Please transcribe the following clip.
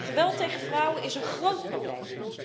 Geweld tegen vrouwen is een groot probleem.